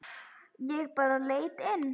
Ég bara leit inn.